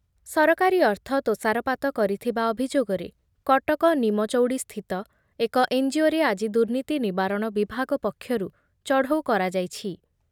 ସରକାରୀ ଅର୍ଥ ତୋଷରପାତ କରିଥିବା ଅଭିଯୋଗରେ କଟକ ନିମଚଉଡ଼ିସ୍ଥିତ ଏକ ଏନ୍‌ଜିଓରେ ଆଜି ଦୁର୍ନୀତି ନିବାରଣ ବିଭାଗ ପକ୍ଷରୁ ଚଢ଼ଉ କରାଯାଇଛି